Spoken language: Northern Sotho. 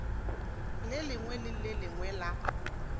lengwe le le lengwe la